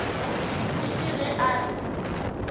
e le ge a re